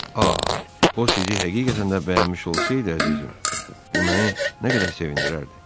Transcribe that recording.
O sizi həqiqətən də bəyənmiş olsaydı, əzizim, bu məni nə qədər sevindirərdi?